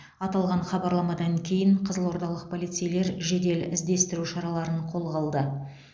аталған хабарламадан кейін қызылордалық полицейлер жедел іздестіру шараларын қолға алды